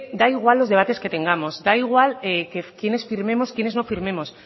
da igual los debates que tengamos da igual quiénes firmemos quiénes no firmemos